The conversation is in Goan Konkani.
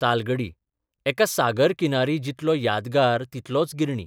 तालगडी एका सागर किनारी 'जितलो यादगार तितलोच 'गिरणी '.